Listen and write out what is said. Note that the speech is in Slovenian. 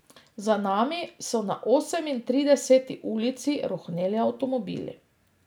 Za nami so na Osemintrideseti ulici rohneli avtomobili.